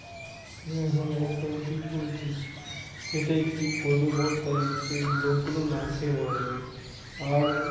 হ্যাঁ হ্যাঁ একদম ঠিক বলেছিস। সেটাই কি করবে বল তাই সেই লোকগুলো না খেয়ে মারা যাবে। আর,